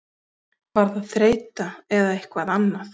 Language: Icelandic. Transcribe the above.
Var það þreyta eða eitthvað annað?